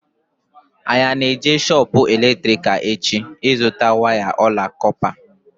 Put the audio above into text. Anyị ana-eje shoopu eletrikal echi ịzụta waya ọla kọpa?